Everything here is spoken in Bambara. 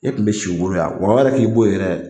E kun be si u bolo yan , wa o yɛrɛ k'i bo yen yɛrɛ